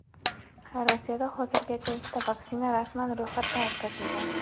Rossiyada hozirgacha ikkita vaksina rasman ro‘yxatda o‘tkazilgan.